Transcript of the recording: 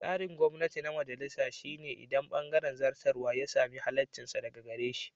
Tsarin gwamnati na majalisa shi ne inda bangaren zartarwa ya sami halaccinsa daga gare shi.